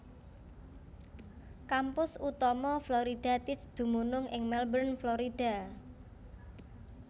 Kampus utama Florida Tech dumunung ing Melbourne Florida